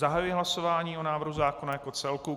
Zahajuji hlasování o návrhu zákona jako celku.